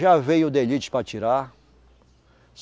Já veio de elite para tirar.